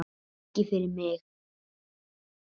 Ekki fyrir mig!